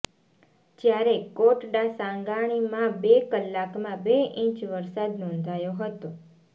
જ્યારે કોટડાસાંગાણીમાં બે કલાકમાં બે ઇંચ વરસાદ નોંધાયો હતો